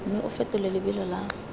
mme o fetole lebelo la